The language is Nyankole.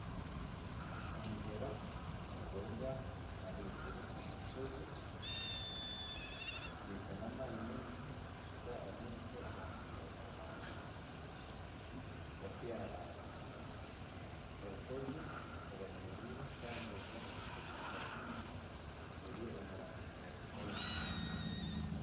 Omugyera niguruga ahaiguru omu rushozi, gwija n'amaani mingi gushuka amaizi omu ruhanga gashyaraara, orushozi rwemereire kandi ruriho ebishaka byingi, biri omu rangi ya kinyaatsi